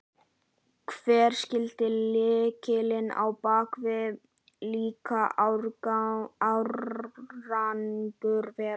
Hver skyldi lykillinn á bak við slíkan árangur vera?